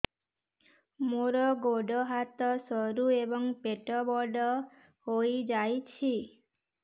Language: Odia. ମୋର ଗୋଡ ହାତ ସରୁ ଏବଂ ପେଟ ବଡ଼ ହୋଇଯାଇଛି